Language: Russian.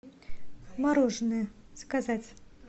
мороженое заказать